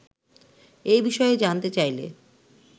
এ বিষয়ে জানতে চাইলে